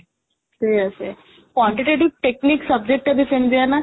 seriously ସେ quantitative Technic subject ଟା ସେମିତିଆ ନା?